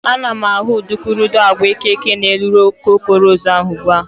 Ana m ahụ udukurudu agwa eke n'elu okoko ros ahụ ugbua.